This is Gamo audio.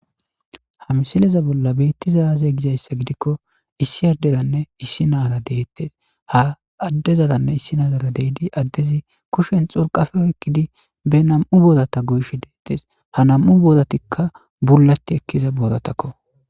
hamsileza bolla beitti zayaze gizayssa gidikko issi addedanne issi naara deettes ha addezadanne issi naazara deydi addezi kushen xurqafeo ekkidi be nam7u boodata goysh deettes ha nam7u boodatikka bulati ekkiza boodatakko